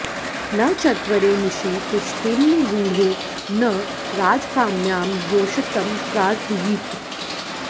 न चत्वरे निशि तिष्ठेन्निगूढो न राजकाम्यां योषितं प्रार्थयीत